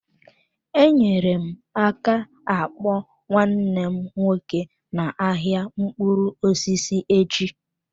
Enyere m aka akpọ nwanne m nwoke n'ahịa mkpụrụ osisi echi.